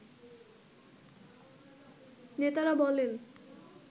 নেতারা বলেন